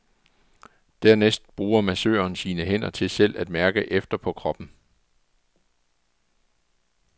Dernæst bruger massøren sine hænder til selv at mærke efter på kroppen.